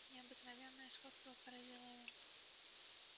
необыкновенное сходство поразило его